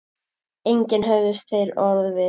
Engi höfðust þeir orð við.